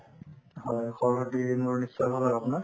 হয়, খবৰ পাতি মোৰ নিশ্চয় ভাল হয় আপোনাৰ ?